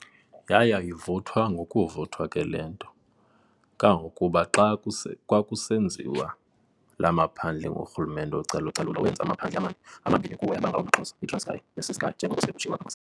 Yaya ivuthwa ngokuvuthwa ke lento, kangangokuba xa kwakusenziwa laa maphandle ngurhulumente wocalu-calulo, wenza amaphandle amane, amabini kuwo yaba ngawamaXhosa, iTranskei neCeskei njengoko sele kutshiwo apha ngasentla.